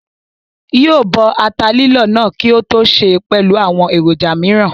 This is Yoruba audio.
Yóò bọ ata lílọ̀ náà kí ó tó sè é pẹ̀lú àwọn èròjà mìíràn